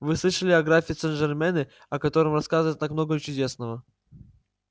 вы слышали о графе сенжермене о котором рассказывают так много чудесного